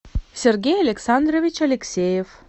сергей александрович алексеев